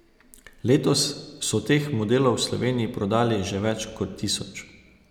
Letos so teh modelov v Sloveniji prodali že več kot tisoč.